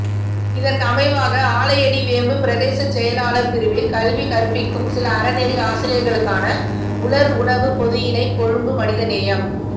இதற்கமைவாக ஆலையடிவேம்பு பிரதேச செயலாளர் பிரிவில் கல்வி கற்பிக்கும் சில அறநெறி ஆசிரியர்களுக்கான உலர் உணவுப் பொதியினை கொழும்பு மனிதநேயம்